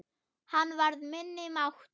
Hann varði minni máttar.